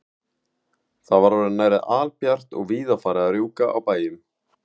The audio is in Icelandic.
Það var orðið nærri albjart og víða farið að rjúka á bæjum.